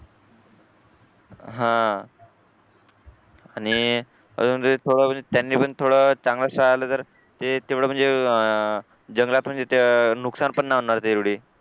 हा आणि अजून एक थोडा वेळ त्यांनी पण चांगला दर हे तेवढं म्हणजे अह आह जंगलात म्हणजे ते अह नुकसान पण होणार नाही तेवढे